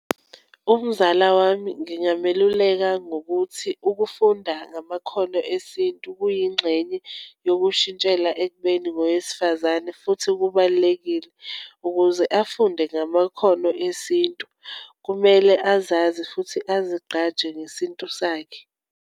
Umzala wami ngingameluleka ngokuthi, ukufunda ngamakhono esintu kuyingxenye yokushintshela ekubeni ngowesifazane, futhi kubalulekile. Ukuze afunde ngamakhono esintu, kumele azazi futhi ezigqaja ngesintu sakhe.